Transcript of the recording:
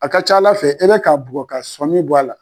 A ka ca Ala fɛ e bɛ k'a bɔ ka sɔn min bɔ a la